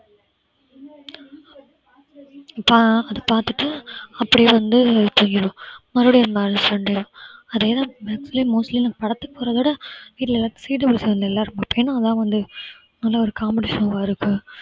அத பாத்துட்டு அப்படியே வந்து தூங்கிடுவோம் மறுபடியும் அடுத்த sunday தான் அதேதான் mostly நாங்க படத்துக்கு போறதோட வீட்ல எல்லாரும் ஏன்னா அதான் வந்து நல்ல ஒரு competitional ஆ இருக்கு